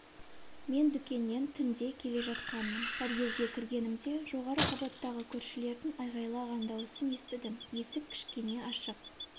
мен дүкеннен түнде келе жатқанмын подъезге кіргенімде жоғары қабаттағы көршілердің айғайлаған дауысын естідім есік кішкене ашық